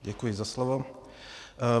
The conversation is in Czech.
Děkuji za slovo.